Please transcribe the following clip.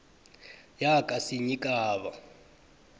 yakasinyikhaba